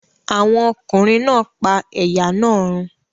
Àwọn ọkùnrin náà pa ẹ̀yà náà run?